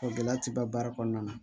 gɛlɛya ti ban baara kɔnɔna na